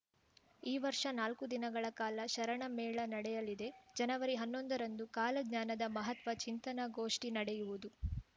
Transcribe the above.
ಈ ವರ್ಷ ನಾಲ್ಕು ದಿನಗಳ ಕಾಲ ಶರಣ ಮೇಳ ನಡೆಯಲಿದೆ ಜನವರಿಹನ್ನೊಂದ ರಂದು ಕಾಲಜ್ಞಾನದ ಮಹತ್ವ ಚಿಂತನಗೋಷ್ಠಿ ನಡೆಯುವುದು